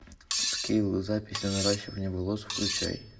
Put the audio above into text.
скилл запись на наращивание волос включай